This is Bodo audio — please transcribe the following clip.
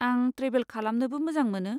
आं ट्रेभेल खालामनोबो मोजां मोनो।